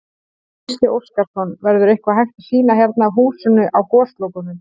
Gísli Óskarsson: Verður eitthvað hægt að sýna hérna af húsinu á Goslokunum?